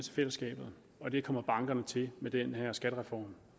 til fællesskabet og det kommer bankerne til med den her skattereform